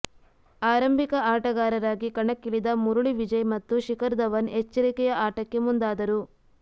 ಆರಂಭಿಕ ಆಟಗಾರರಾಗಿ ಕಣಕ್ಕಿಳಿದ ಮುರುಳಿ ವಿಜಯ್ ಮತ್ತು ಶಿಖರ್ ಧವನ್ ಎಚ್ಚರಿಕೆಯ ಆಟಕ್ಕೆ ಮುಂದಾದರು